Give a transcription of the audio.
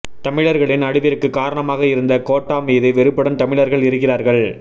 தமிழர்களின் அழிவிற்கு காரணமாக இருந்த கோட்டா மீது வெறுப்புடன் தமிழர்கள் இருக்கிறார்கள்